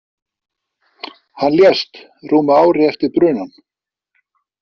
Hann lést rúmu ári eftir brunann.